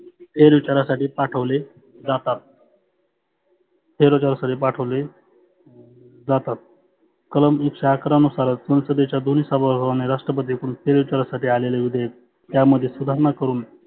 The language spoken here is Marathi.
फेर विचारासाठी पाठवले जातात. फेर विचारासाठी पाठवले जातात. कलम एकशे अकरा नुसार संसदेच्या दोन्ही सभागृहाने फेर विचारासाठी आलेले विधेयक यामध्ये सुधारणा करुन